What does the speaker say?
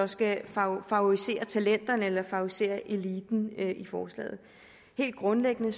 skal favorisere talenterne eller favorisere eliten helt grundlæggende